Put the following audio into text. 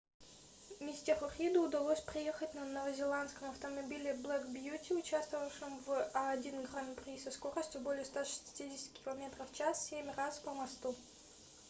мистеру риду удалось проехать на новозеландском автомобиле black beauty участвовавшем в а1 гран-при со скоростью более 160 км/ч семь раз по мосту